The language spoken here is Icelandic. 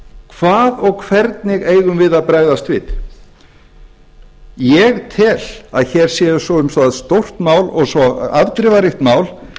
hvað og hvernig eigum við að bregðast við ég tel að hér sé svo stórt mál og svo afdrifaríkt mál